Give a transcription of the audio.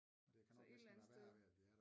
Altså et eller andet sted